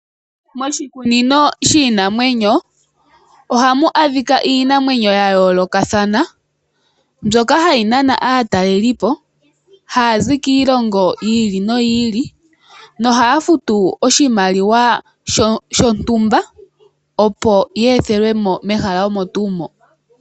Moshikunino shiinanwenyo ohamu adhika iinamwenyo ya yoolokathana mbyoka hayi nana aatalelipo hayazi kiilongo yi ili noyi ili hohaya futu oshimaliwa shontumba opo ye ethelwemo mehala omo tuu moka.